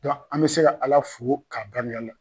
an bɛ se ka Ala fo k'a la